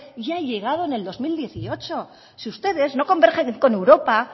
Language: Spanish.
y ha llegado en el dos mil dieciocho si ustedes no convergen con europa